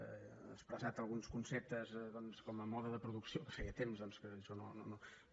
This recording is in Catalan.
ha expressat alguns conceptes doncs com a mode de producció que feia temps que jo no